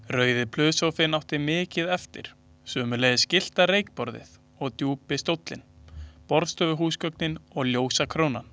Rauði plusssófinn átti mikið eftir, sömuleiðis gyllta reykborðið og djúpi stóllinn, borðstofuhúsgögnin og ljósakrónan.